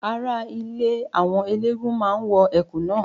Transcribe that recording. Ara ilé àwọn eléégún máa wọ Ẹ̀kú náà.